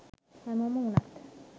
හැමෝම වුණත්